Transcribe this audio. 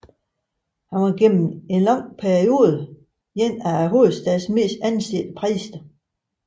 Han var gennem en lang periode en af hovedstadens mest ansete præster